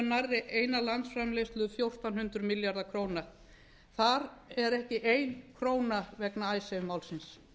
nærri eina landsframleiðslu fjórtán hundruð milljarða króna þar er ekki ein króna vegna icesave málsins